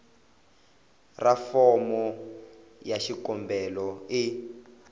ra fomo ya xikombelo e